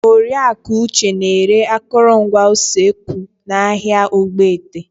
Oriaku Uche na-ere akụrụngwa usekwu n'ahịa Ogbete.